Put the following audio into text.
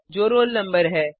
जो roll number है